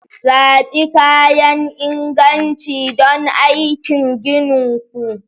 Zaɓi kayan inganci don aikin ginin ku